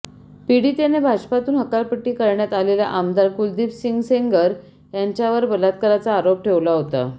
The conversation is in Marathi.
पीडितेने भाजपातून हकालपट्टी करण्यात आलेला आमदार कुलदीप सिंह सेंगर याच्यावर बलात्काराचा आरोप ठेवला होता